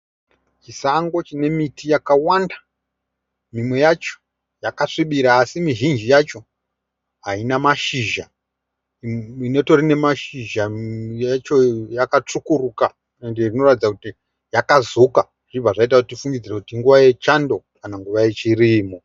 Chisango chine miti yakawanda. Mimwe yacho yaka svibira así mizhinji yacho haina mashizha. Ine mashizha yacho yakatsvukuruka inoratidza kuti yaka zuka zvobva zvaita kuti tifungidzire kuti inguva yechando kana kuti nguva yechirimo.